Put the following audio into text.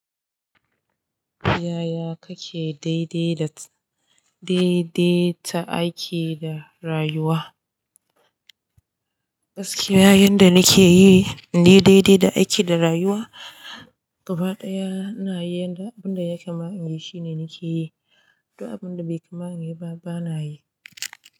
Yaya kake daidai da, daidaita aiki da rayuwa? Gaskiya yanda nake yi, in daidai da aiki da rayuwa, gaba ɗaya ina yi yanda abun da ya kama in yi shi nake yi, duk abun da bai kama ni ba bana yi.